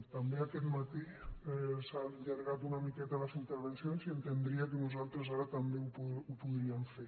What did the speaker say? també aquest matí s’han allargat una miqueta les intervencions i entendria que nosaltres ara també ho podríem fer